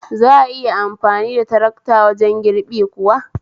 Za'a iya amfani da tarakta wajen girbi kuwa?